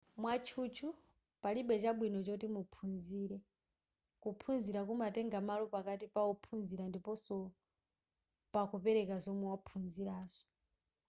mwatchutchu palibe chabwino choti muphunzire kuphunzira kumatenga malo pakati pa ophunzira ndiponso pakupereka zomwe waphunzirazo